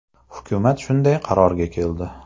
Hukumat shunday qarorga keldi.